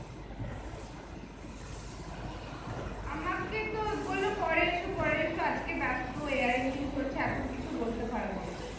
আমাকে তো বল্লো পরে এসো পরে এসো আজগে বেস্ত চলছে এখন কিছু বলতে পারবো না